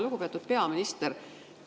Lugupeetud peaminister!